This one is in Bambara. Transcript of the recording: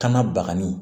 Kana bagani